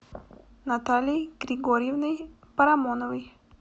натальей григорьевной парамоновой